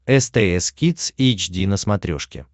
стс кидс эйч ди на смотрешке